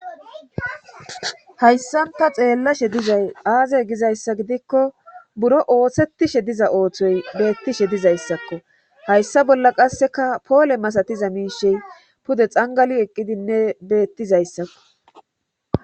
Hayssan ta xeellashe dizay aazey gizayssa gidikko buro oothshettishe diza ooththoy beettishe dizayssakko hayssa bolla qasseka poole masatiza miishey pude xangali eqqidinne beettizayssakko